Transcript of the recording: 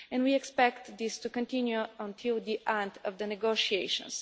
We expect this to continue until the end of the negotiations.